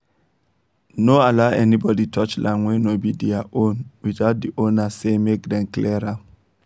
no allow anybody touch land wey no be their own without the owner say make dem clear am